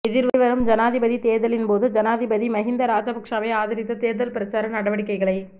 எதிர்வரும் ஜனாதிபதித் தேர்தலின்போது ஜனாதிபதி மஹிந்த ராஜபக்ஷவை ஆதரித்து தேர்தல் பிரசார நடவடிக்கைகளை